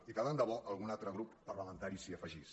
i tant de bo que algun altre grup parlamentari s’hi afegís